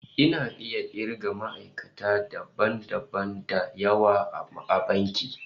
Ina iya kirga ma'aikata dabam dabam da yawa a bankin